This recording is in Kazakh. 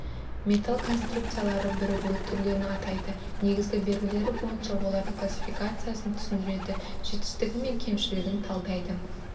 металл конструкциялары бірігуі түрлерін атайды негізгі белгілері бойынша олардың классификациясын түсіндіреді жетістігі мен кемшілігін талдайды